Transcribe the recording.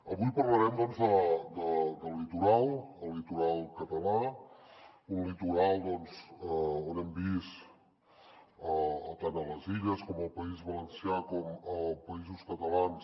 avui parlarem doncs del litoral el litoral català un litoral on hem vist tant a les illes i al país valencià com als països catalans